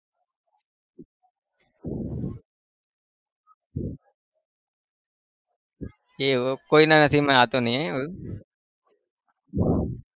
એવું કોઈના નસીબમાં હતું નહિ એવું